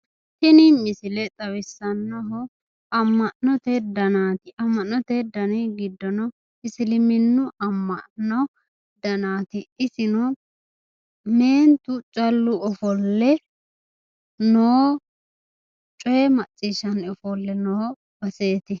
Tini misile xawisanohu ama'note danati, ama'note dani giddonno isiliminu ama'no danati, isino meentu callu offolle noo cooye maciishano noreetu